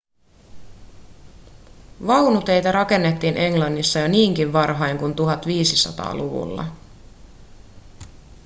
vaunuteitä rakennettiin englannissa jo niinkin varhain kuin 1500-luvulla